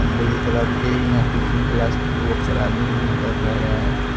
Blue colour के ही यहां पे जिम क्लास पर बहुत सारे आदमी जिम भी कर रहे है।